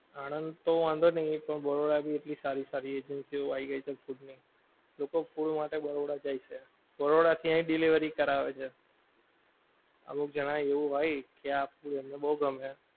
આણંદ તો વાંધો નહિ પણ બરોડા ભી એટલી સારી સારી agency ઓ આવી ગઈ છે food ની. લોકો food માટે બરોડા જાય છે, બરોડા થી અહીં delivery કરાવે છે. અમુક જણાં એવું હોય કે આપડું એમને બઉ ગમે.